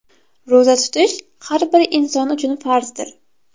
Ro‘za tutish har bir inson uchun farzdir.